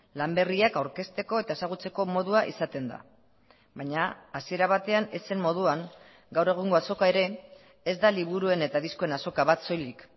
lan berriak aurkezteko eta ezagutzeko modua izaten da baina hasiera batean ez zen moduan gaur egungo azoka ere ez da liburuen eta diskoen azoka bat soilik